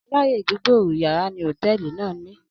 aláyè gbígbòòrò yara ni hoteeli nàá ni